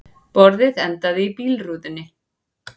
Borðið endaði í bílrúðunni